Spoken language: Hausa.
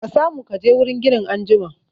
Ka samu kaje wurin ginin anjima